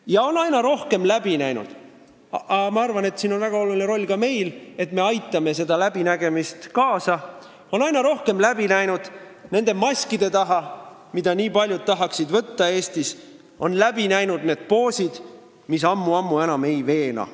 Nad on aina rohkem näinud – ma arvan, et siin on väga oluline roll ka meil, me aitame sellele kaasa – nende maskide taha, mida nii paljud tahaksid Eestis võtta, ja on läbi näinud need poosid, mis ammu-ammu enam ei veena.